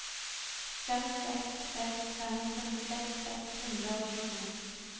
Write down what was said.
fem seks seks fem femtiseks seks hundre og tjueto